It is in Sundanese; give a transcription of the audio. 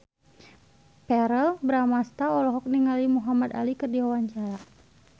Verrell Bramastra olohok ningali Muhamad Ali keur diwawancara